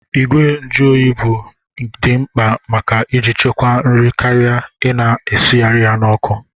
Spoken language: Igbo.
Ìgwè njuoyi bụ di mkpa maka iji chekwaa nri karịa Ị na-esigharị ya n'ọkụ.